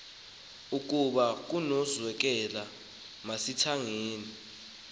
ukaba kunokwenzeka masingathengi